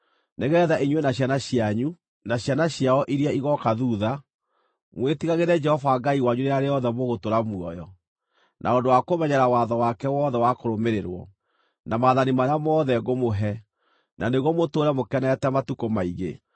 Nĩgeetha inyuĩ na ciana cianyu, na ciana ciao iria igooka thuutha mwĩtigagĩre Jehova Ngai wanyu rĩrĩa rĩothe mũgũtũũra muoyo, na ũndũ wa kũmenyerera watho wake wothe wa kũrũmĩrĩrwo, na maathani marĩa mothe ngũmũhe, na nĩguo mũtũũre mũkenete matukũ maingĩ.